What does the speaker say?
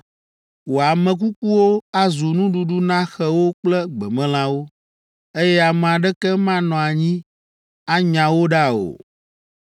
Wò ame kukuwo azu nuɖuɖu na xewo kple gbemelãwo, eye ame aɖeke manɔ anyi anya wo ɖa o.